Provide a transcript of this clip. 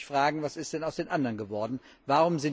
Man muss sich fragen, was denn aus den anderen geworden ist.